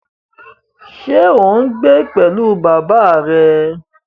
Ṣé ò ń gbé pẹ̀lú bàbá rẹ?